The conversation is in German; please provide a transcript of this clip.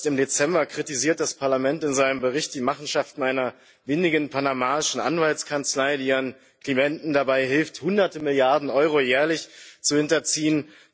Erst im Dezember kritisiert das Parlament in seinem Bericht die Machenschaften einer windigen panamaischen Anwaltskanzlei, die ihren Klienten dabei hilft, hunderte Milliarden Euro jährlich zu hinterziehen.